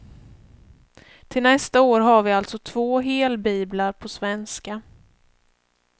Till nästa år har vi alltså två helbiblar på svenska.